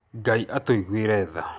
Ngai atũiguĩre tha.